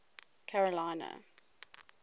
carolina